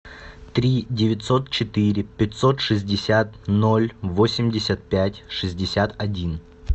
три девятьсот четыре пятьсот шестьдесят ноль восемьдесят пять шестьдесят один